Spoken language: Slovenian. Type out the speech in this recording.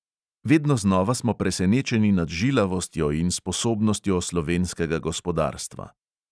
Vedno znova smo presenečeni nad žilavostjo in sposobnostjo slovenskega gospodarstva.